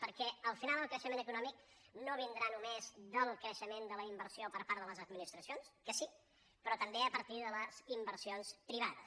perquè al final el creixement econòmic no vindrà només del creixement de la inversió per part de les administracions que sí sinó també a partir de les inversions privades